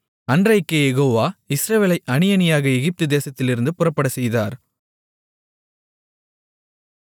அன்றைக்கே யெகோவா இஸ்ரவேலை அணியணியாக எகிப்து தேசத்திலிருந்து புறப்படச்செய்தார்